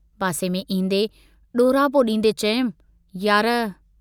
पासे में ईन्दे ॾोरापो डींदे चयुमि, यार!